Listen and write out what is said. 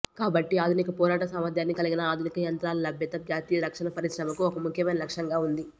కాబట్టి ఆధునిక పోరాట సామర్థ్యాన్ని కలిగిన ఆధునిక యంత్రాల లభ్యత జాతీయ రక్షణ పరిశ్రమకు ఒక ముఖ్యమైన లక్ష్యంగా ఉంది